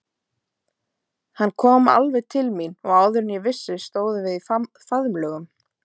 Hann kom alveg til mín og áður en ég vissi stóðum við í faðmlögum.